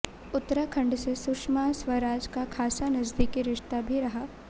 उत्तराखंड से सुषमा स्वराज का खासा नजदीकी रिश्ता भी रहा